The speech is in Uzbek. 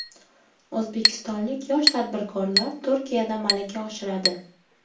O‘zbekistonlik yosh tadbirkorlar Turkiyada malaka oshiradi.